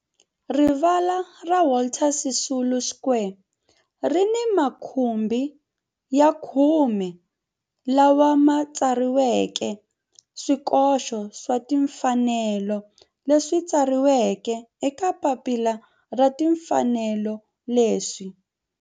Rivala ra Walter Sisulu Square ri ni makhumbi ya khume lawa ma tsariweke swikoxo swa timfanelo leswi tsariweke eka papila ra timfanelo leswi